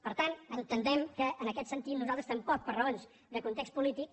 per tant entenem que en aquest sentit nosaltres tam·poc per raons de context polític